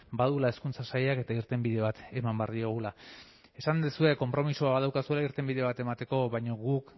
baduela hezkuntza sailak eta irtenbide bat eman behar diogula esan duzue konpromisoa badaukazuela irtenbide bat emateko baina guk